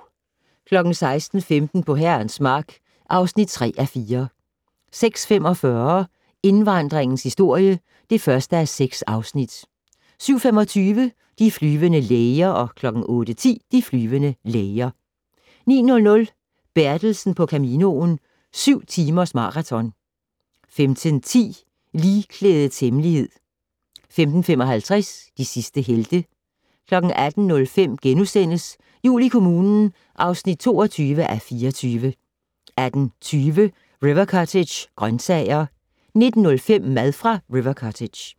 06:15: På Herrens Mark (3:4) 06:45: Indvandringens historie (1:6) 07:25: De flyvende læger 08:10: De flyvende læger 09:00: Bertelsen på Caminoen - syv timers maraton 15:10: Ligklædets hemmelighed 15:55: De sidste helte 18:05: Jul i kommunen (22:24)* 18:20: River Cottage - grøntsager 19:05: Mad fra River Cottage